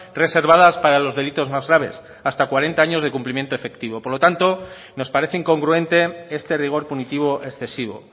reservadas para los delitos más graves hasta cuarenta años de cumplimiento efectivo por lo tanto nos parece incongruente este rigor punitivo excesivo